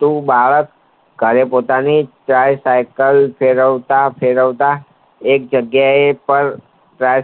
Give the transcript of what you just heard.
તો બાળક ઘરે પોતાની સાયકલ ફેરવતા ફેરવતા એક જગ્યા એ પાર